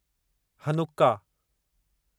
Hanukkah